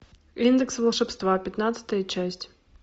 индекс волшебства пятнадцатая часть